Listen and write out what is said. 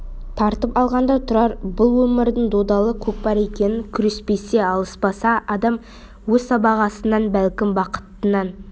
тартып алғанда тұрар бұл өмірдің додалы көкпар екенін күреспесе алыспаса адам өз сыбағасынан бәлкім бақытынан